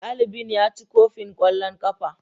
dalibin ya ci kofin kwallon kafa.